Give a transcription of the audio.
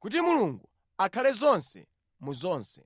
kuti Mulungu akhale zonse mu zonse.